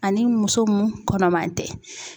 Ani muso mun kɔnɔman tɛ.